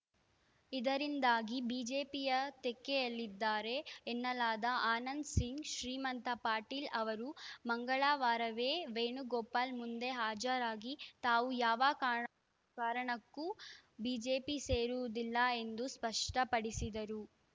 ಇದರಿಂದಾಗಿ ಬಿಜೆಪಿಯ ತೆಕ್ಕೆಯಲ್ಲಿದ್ದಾರೆ ಎನ್ನಲಾದ ಆನಂದಸಿಂಗ್‌ ಶ್ರೀಮಂತ ಪಾಟೀಲ್‌ ಅವರು ಮಂಗಳವಾರವೇ ವೇಣುಗೋಪಾಲ್‌ ಮುಂದೆ ಹಾಜರಾಗಿ ತಾವು ಯಾವ ಕಾರಣ್ ಕಾರಣಕ್ಕೂ ಬಿಜೆಪಿ ಸೇರುವುದಿಲ್ಲ ಎಂದು ಸ್ಪಷ್ಟಪಡಿಸಿದರು